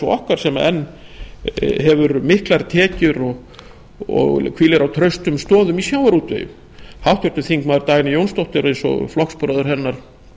okkar sem enn hefur miklar tekjur og hvílir á traustum stoðum í sjávarútvegi háttvirtir þingmenn dagný jónsdóttir eins og flokksbróðir hennar